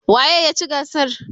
waye ya ci gasar?